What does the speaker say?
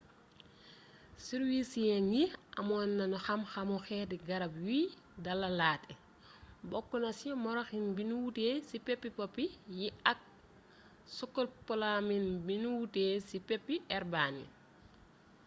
sirursiyeng yi amoon nañu xam xamu xeeti garab yuy dalalaate bokk na ci moroxin bi nu wutee ci peppi poppy yi ak skopolamin bi nu wutee ci peppi herbane